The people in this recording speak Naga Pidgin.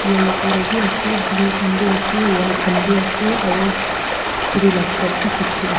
yellow colour bi ase blue khan bi ase white khan bi ase aru khuri la step bi dikhi ah.